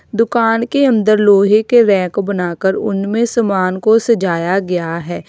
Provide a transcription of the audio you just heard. दुकान के अन्दर लोहे के रैक बनाकर उनमें समान को सजाया गया है।